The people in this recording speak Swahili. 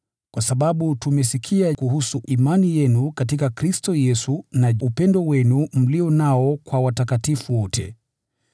kwa sababu tumesikia kuhusu imani yenu katika Kristo Yesu, na upendo wenu mlio nao kwa watakatifu wote: